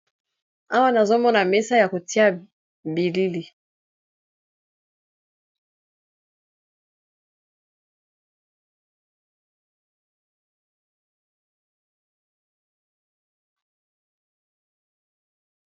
Awa nazomona mesa ya kotia bilili.